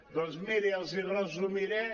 doncs miri els hi resumiré